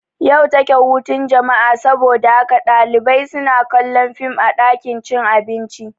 Yau take hutun jama'a saboda haka ɗalibai suna kallon fim a ɗakin cin abinci